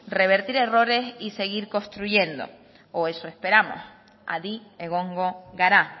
revertir errores y seguir construyendo o eso esperamos adi egongo gara